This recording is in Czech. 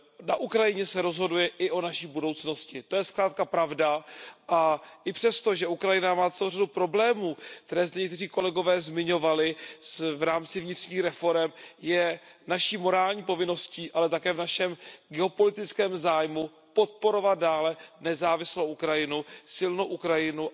Na Ukrajině se rozhoduje i o naší budoucnosti, to je zkrátka pravda a i přesto, že Ukrajina má celou řadu problémů, které zde někteří kolegové zmiňovali, v rámci vnitřních reforem, je naší morální povinností, ale také v našem geopolitickém zájmu podporovat dále nezávislou Ukrajinu, silnou Ukrajinu.